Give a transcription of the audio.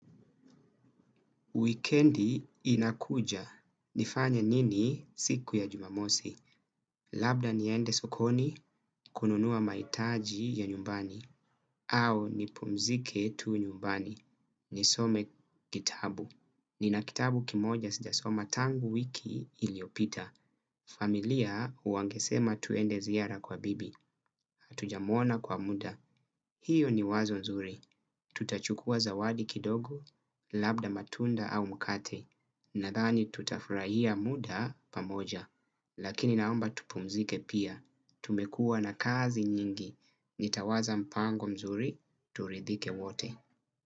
Wikendi inakuja. Nifanye nini siku ya jumamosi? Labda niende sokoni, kununua mahitaji ya nyumbani, au nipumzike tu nyumbani. Nisome kitabu. Nina kitabu kimoja sijasoma tangu wiki iliyopita. Familia wangesema tuende ziara kwa bibi. Hatujamuona kwa muda. Hiyo ni wazo nzuri, tutachukua zawadi kidogo, labda matunda au mkate, nadhani tutafurahia muda pamoja, lakini naomba tupumzike pia, tumekuwa na kazi nyingi, nitawaza mpango mzuri, turidhike wote.